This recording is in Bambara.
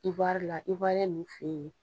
Iwari la ninnu fe yen